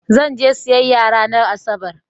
Zan je siyayya ranar Asabar.